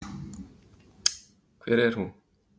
Hver er hún?